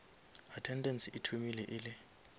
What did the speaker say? attendance e thomile e le